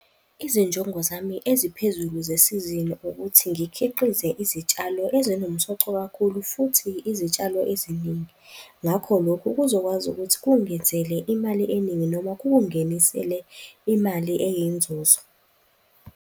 Izinjongo zami eziphezulu zesizini ukuthi ngikhiqize izitshalo ezinomsoco kakhulu futhi izitshalo eziningi. Ngakho lokhu kuzokwazi ukuthi kungenzele imali eningi noma kungingenisele imali eyinzuzo.